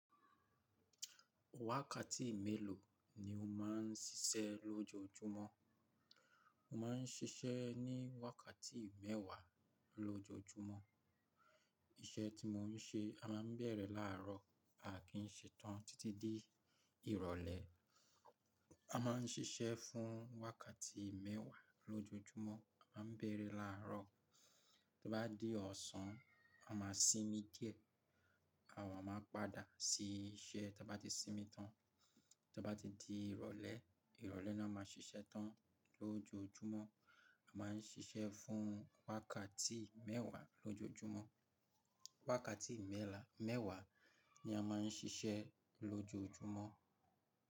Melo ni o máa ń ṣiṣẹ́ lojoojumo ní sise re ni wákàtí mẹ́wàá ni ójoójúmọ́. Iṣẹ́ tí mò ń ṣe, a máa ń bẹ̀rẹ̀ láàárọ̀, a kì í ṣe tán títí dé ìrọ̀lẹ́. A máa ń ṣiṣẹ́ fún wákàtí mẹ́wàá lójoójúmọ́, a máa ń bẹ̀rẹ̀ láàárọ̀. Tí ó bá di ọ̀sán, a máa sinmi díẹ̀, àwa máa padà sí iṣẹ́ tí a bá ti sinmi tán. Tí ó bá ti di ìrọ̀lẹ́, ìrọ̀lẹ́ náà máa ń ṣiṣẹ́ tán lójoójúmọ́. A máa ń ṣiṣẹ́ fún wákàtí mẹ́wàá lójoójúmọ́. Wákàtí mẹ́la-mẹ́wàá ni a máa ń ṣiṣẹ́ lójoójúmọ́